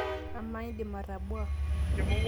amaa indim atabua?